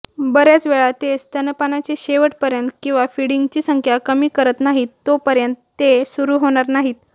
बर्याचवेळा ते स्तनपानाचे शेवटपर्यंत किंवा फीडिंगची संख्या कमी करत नाहीत तोपर्यंत ते सुरू होणार नाहीत